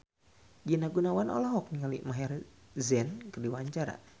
Rina Gunawan olohok ningali Maher Zein keur diwawancara